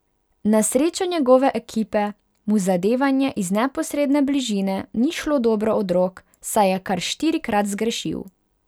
Na srečo njegove ekipe mu zadevanje iz neposredne bližine ni šlo dobro od rok, saj je kar štirikrat zgrešil.